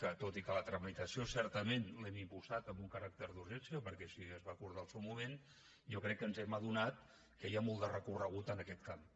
tot i que la tramitació certament l’hem impulsada amb un caràcter d’urgència perquè així es va acordar en el seu moment jo crec que ens hem adonat que hi ha molt de recorregut en aquest camp